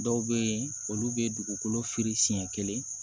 Dɔw bɛ yen olu bɛ dugukolo firi siɲɛ kelen